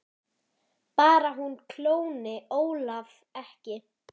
Bara hún klóni Ólaf ekki.